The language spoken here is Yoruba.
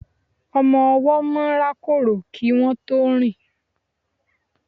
ọmọ ọwọ́ máà ń rákòrò kí wọn tó rìn